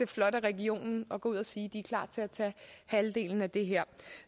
flot af regionen at gå ud og sige at de er klar til at tage halvdelen af det her